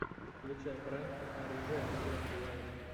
включай пранки оружия в играх уайт